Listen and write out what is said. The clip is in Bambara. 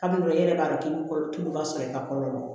Kalo dɔw la i yɛrɛ b'a dɔn k'i bɛ kolo tuluba sɔrɔ i ka kɔrɔ